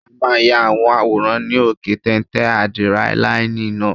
A máa ya àwọn àwòrán ní òkè téńté ádírẹ́láínì náà